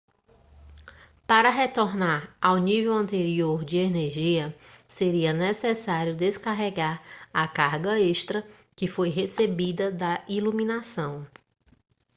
para retornar ao nível anterior de energia seria necessário descarregar a carga extra que foi recebida da iluminação